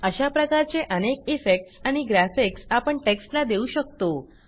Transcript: अशा प्रकारचे अनेक इफेक्ट्स आणि ग्राफिक्स आपण टेक्स्टला देऊ शकतो